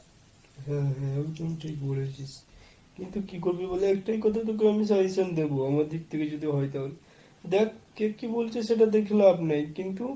হ্যাঁ হ্যাঁ একদম ঠিক বলেছিস। কিন্তু কি করবি বল? একটাই কথা তোকে আমি suggestion দেব আমার দিক থেকে যদি হয় তাহলে, দেখ কে কি বলছি সেটা দেখে লাভ নেই কিন্তু,